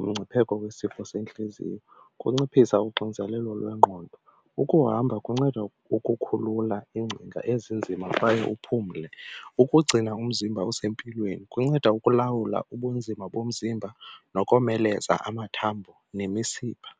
umngcipheko wesifo sentliziyo, kunciphisa uxinzelelo lwengqondo. Ukuhamba kunceda ukukhulula iingcinga ezinzima kwaye uphumle, ukugcina umzimba usempilweni kunceda ukulawula ubunzima bomzimba nokomeleza amathambo nemisipha.